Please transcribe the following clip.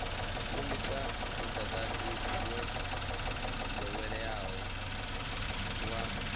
shumisa mudagasi wo doweleaho wa